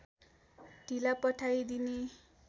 ढिला पठाइदिने